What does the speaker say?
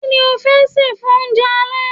Kí ni a fẹ́ sè fún oúnjẹ alẹ́.